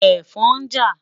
Ẹ̀fọn ń jà.